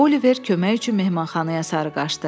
Oliver kömək üçün mehmanxanaya sarı qaçdı.